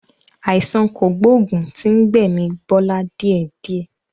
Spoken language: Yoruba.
Àìsàn kògbógùn tí ń gbẹ̀mi Bọlá díẹ̀ díẹ̀.